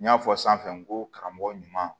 N y'a fɔ sanfɛ n ko karamɔgɔ ɲuman